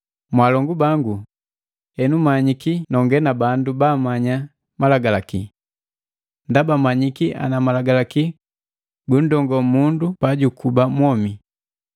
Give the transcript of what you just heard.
Mwaalongu bangu henu manyiki nonge na bandu babagamanya malagalaki. Ndaba mmanyiki ana malagalaki gunndongoo mundu pajukuba mwomi.